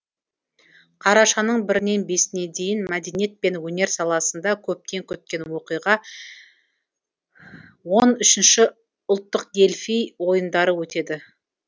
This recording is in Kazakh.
қарашаның бірінен бесіне дейін мәдениет пен өнер саласында көптен күткен оқиға он үшінші ұлттық дельфий ойындары өтеді